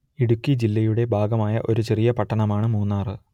ഇടുക്കി ജില്ലയുടെ ഭാഗമായ ഒരു ചെറിയ പട്ടണമാണ് മൂന്നാർ